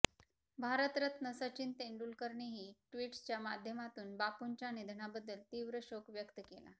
भारतरत्न सचिन तेंडुलकरनेही ट्विटच्या माध्यमातून बापूंच्या निधनाबद्दल तीव्र शोक व्यक्त केला